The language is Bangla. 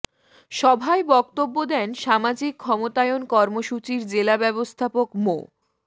সভায় বক্তব্য দেন সামাজিক ক্ষমতায়ন কর্মসূচির জেলা ব্যবস্থাপক মো